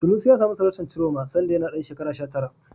Sanusi ya samu sarautar Ciroma sanda yana ɗan shekara sha tara.